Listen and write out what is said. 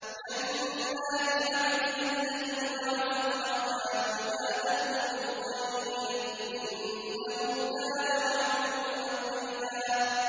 جَنَّاتِ عَدْنٍ الَّتِي وَعَدَ الرَّحْمَٰنُ عِبَادَهُ بِالْغَيْبِ ۚ إِنَّهُ كَانَ وَعْدُهُ مَأْتِيًّا